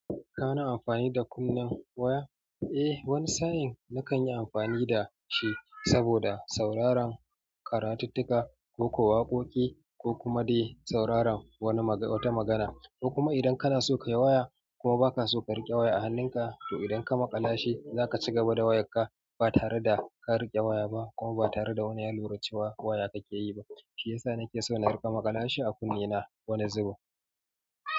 Kana amfani da kunnen waya? Eh wani sa'in nakan yi amfani da shi saboda sauraron karatuttuka ko kuwa waƙoƙi ko kuma dai sauraron wata magana. Ko kuma idan kana so kayi waya kuma baka so ka riƙe waya a hannunka to idan ka maƙala shi zaka ci gaba da wayar ba tare da ka riƙe waya ba kuma ba tare da wani ya lura cewa waya kake yi ba. Shiyasa nake so na riƙa maƙala shi a kunnena wani zubin.